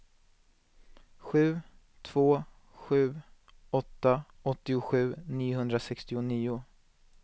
sju två sju åtta åttiosju niohundrasextionio